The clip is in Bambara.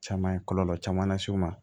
Caman kɔlɔlɔ caman las'u ma